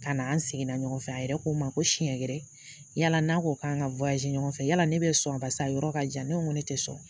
Ka na an seginna ɲɔgɔn fɛ a yɛrɛ ko n ma ko siɲɛ wɛrɛ yala n'a ko k'an ka ɲɔgɔn fɛ yala ne bɛ sɔn barisa yɔrɔ ka jan ne ko n ko ne tɛ sɔn